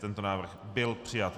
Tento návrh byl přijat.